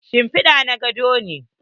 Shimpida na godo ne.